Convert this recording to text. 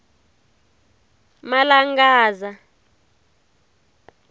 malangadza